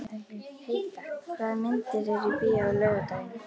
Heida, hvaða myndir eru í bíó á laugardaginn?